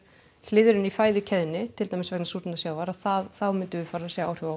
hliðrun í fæðukeðjunni til dæmis vegna súrnunar sjávar að þá myndum við fara að sjá áhrif á